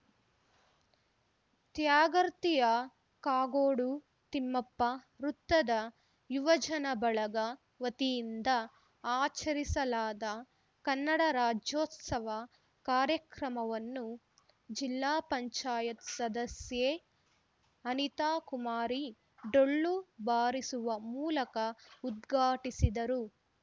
ತ್ಯಾಗರ್ತಿಯ ಕಾಗೋಡು ತಿಮ್ಮಪ್ಪ ವೃತ್ತದ ಯುವಜನ ಬಳಗ ವತಿಯಿಂದ ಆಚರಿಸಲಾದ ಕನ್ನಡ ರಾಜ್ಯೋತ್ಸವ ಕಾರ್ಯಕ್ರಮವನ್ನು ಜಿಲ್ಲಾ ಪಂಚಾಯತ್ ಸದಸ್ಯೆ ಅನಿತಾಕುಮಾರಿ ಡೊಳ್ಳು ಬಾರಿಸುವ ಮೂಲಕ ಉದ್ಘಾಟಿಸಿದರು